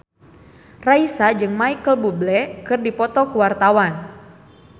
Raisa jeung Micheal Bubble keur dipoto ku wartawan